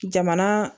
Jamana